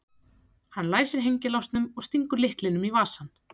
Hann læsir hengilásnum og stingur lyklinum í vasann.